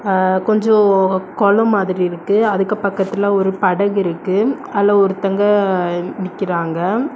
ஆ கொஞ்ஜோ கொலோ மாதிரி இருக்கு அதுக்கு பக்கத்துல ஒரு படகு இருக்கு அல்ல ஒருதங்க நிக்கிராங்க.